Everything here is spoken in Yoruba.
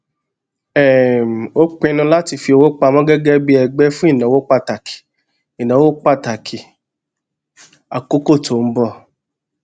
um ó pinnu láti fi owó pamọ gégé bí ẹgbé fún ìnáwó pàtàkì ìnáwó pàtàkì àkókó tó n bọ